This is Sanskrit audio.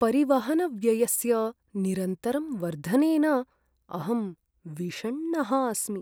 परिवहनव्ययस्य निरन्तरं वर्धनेन अहं विषण्णः अस्मि।